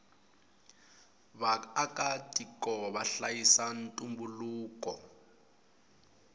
vaaka tiko vahlayisa ntumbuluko